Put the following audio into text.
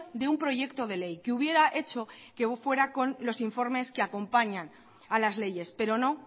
de un proyecto de ley que hubiera hecho que fuera con los informes que acompañan a las leyes pero no